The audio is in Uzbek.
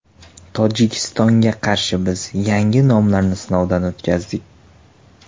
Tojikistonga qarshi biz yangi nomlarni sinovdan o‘tkazdik.